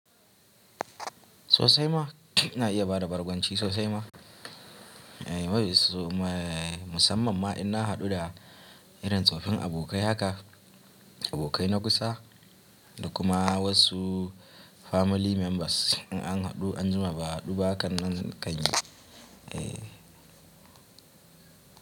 Sosai ma ina iya bada bargonci sosai ma. Musamman ma ina haɗu da irin tsoffin abokai haka, abokai na kusa da kuma wasu family members in an haɗu anjima ba haɗu ba kan kanyi.